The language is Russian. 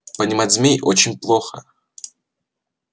понимать змей очень плохо